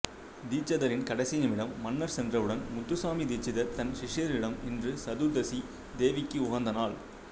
தீட்சிதரின் கடைசி நிமிடம் மன்னர் சென்றவுடன் முத்துசுவாமி தீட்சிதர் தன் சிஷ்யர்களிடம் இன்று சதுர்தசி தேவிக்கு உகந்த நாள்